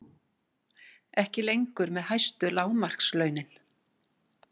Ekki lengur með hæstu lágmarkslaunin